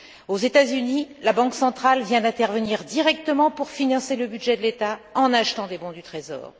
Aux États Unis, la banque centrale vient d'intervenir directement pour financer le budget de l'État en achetant des bons du Trésor.